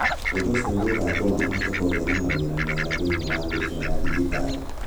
Ũndũ ũcio nĩ ũgatũma mahote kũgĩa na mawĩra mega thĩinĩ wa thĩ ĩno ya digitali.